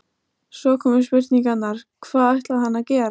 Svo komu spurningarnar: Hvað ætlaði hann að gera?